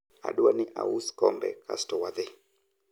adwa ni aus kombe kasto wadhi